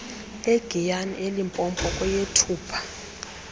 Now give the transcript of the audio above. egiyani elimpopo kweyethupha